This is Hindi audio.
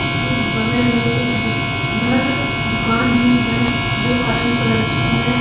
इसके बगल में एक दु उधर दुकान भी है जो ऑरेंज कलर की हैं।